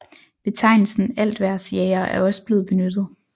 Betegnelsen altvejrsjager er også blevet benyttet